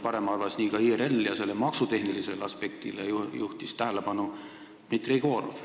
Varem arvas nii ka IRL ja sellele maksutehnilisele aspektile juhtis tähelepanu Dmitri Jegorov.